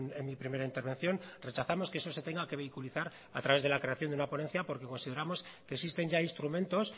en mi primera intervención rechazamos que eso se tenga que vinculizar a través de la creación de una ponencia porque consideramos que existen ya instrumentos